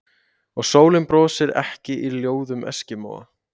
Og sólin brosir ekki í ljóðum eskimóa